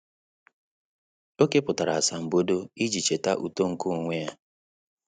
Ọ́ kèpụ̀tárà asambodo iji chètá uto nke onwe ya.